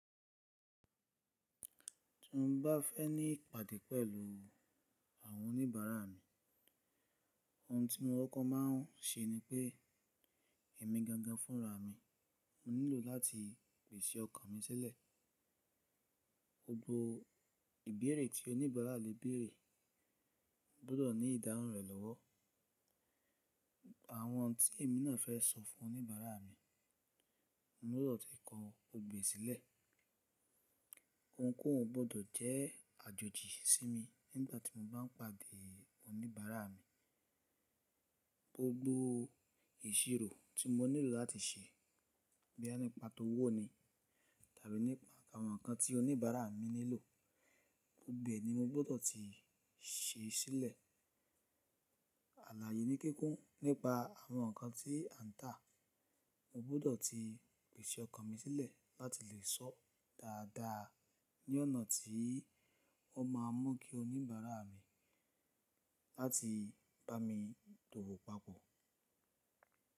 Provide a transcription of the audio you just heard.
Tí mo bá fẹ́ ní ìpàdé pẹ̀lú àwọn oníbàárà mi, ohun tí mo kọkọ má a ń ṣe ni pé èmi gangan fúnra mi, mo nílò láti pèsè ọkàn mi sílẹ̀. Gbogbo ìbéèrè tí oníbàárà le béèrè gbọ́dọ̀ ní ìdáhùn rẹ̀ lọ́wọ́. Àwọn ohun tí èmi náà fẹ́ sọ fún oníbàárà mi, mo gbọ́dọ̀ ti kọ gbọgbo e sílẹ̀. Ohunkóhun gbọ́dọ̀ jẹ́ àjòjì sí mi nígbà tí mo bá ń pàdé oníbàárà mi. Gbogbo ìṣirò tí mo nílò láti ṣe, boya nípa tó wọ̀ ni tàbí nípa àwọn nǹkan tí oníbàárà mi nílò, gbogbo ẹ ní mo gbọ́dọ̀ ti ṣe sílẹ̀. Àláàyè ni kíkún nípa àwọn nǹkan tí a ń tà. Mo gbọ́dọ̀ ti pèsè ọkàn mi sílẹ̀ láti lè sọ dáadáa ní ọ̀nà tí ó má a mú kí oníbàárà mi láti bá mi dòwò papọ̀.